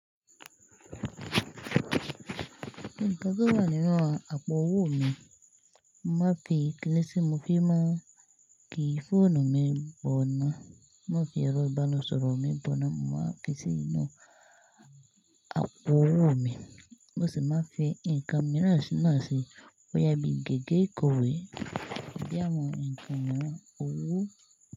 Nkàn tí ó wá nínu àpò owó mi, mo màá ki kíni tí, mo fi máà ki fóònù mi bọ̀nà. Mo màá fi ẹrọ ìbánisọ̀rọ̀ mi bọ̀nà, mo màá ki sí inú àpò owó mi. Bo si màá fi nǹkan mirán na sí, bóya bí gègé ìkòwé. Bí awọn nǹkan miràn owó.